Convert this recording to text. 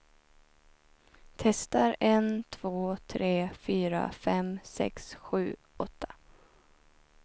Testar en två tre fyra fem sex sju åtta.